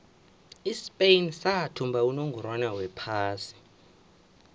ispain sathumba unongorwond wephasi